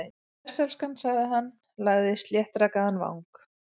Bless, elskan- sagði hann, lagði sléttrakaðan vang